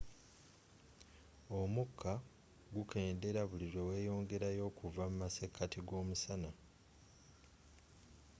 omukka gukendeera buli lwe weyongerayo okuva mu masekati g'omusana